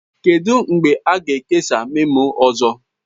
Kedu mgbe a ga-ekesa memo ọzọ?